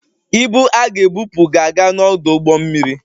Ibu a ga-ebupụ na-aga n'ọdụ ụgbọ mmiri